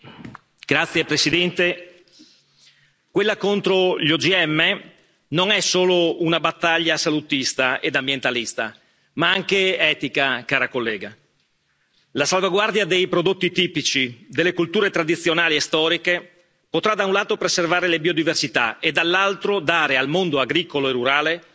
Signor Presidente, onorevoli colleghi, quella contro gli OGM non è solo una battaglia salutista ed ambientalista, ma anche etica, cara collega. La salvaguardia dei prodotti tipici delle colture tradizionali e storiche potrà, da un lato, preservare le biodiversità e, dall'altro, dare al mondo agricolo e rurale